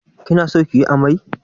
Kin son yin ammai?